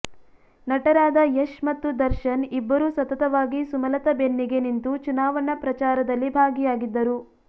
ನಟರಾದ ಯಶ್ ಮತ್ತು ದರ್ಶನ್ ಇಬ್ಬರೂ ಸತತವಾಗಿ ಸುಮಲತಾ ಬೆನ್ನಿಗೆ ನಿಂತು ಚುನಾವಣಾ ಪ್ರಚಾರದಲ್ಲಿ ಭಾಗಿಯಾಗಿದ್ದರು